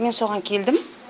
мен соған келдім